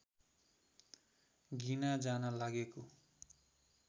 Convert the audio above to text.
गिना जान लागेको